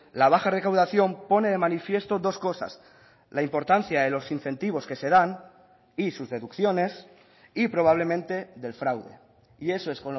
la baja recaudación pone de manifiesto dos cosas la importancia de los incentivos que se dan y sus deducciones y probablemente del fraude y eso es